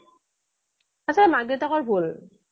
এইচৱ মাক দেউতাকৰ ভুল